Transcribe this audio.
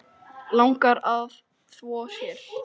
Langar að þvo sér.